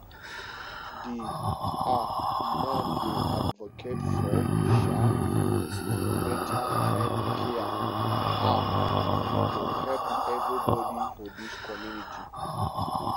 di um man dey advocate for um beta healthcare um e go help everybodi for dis community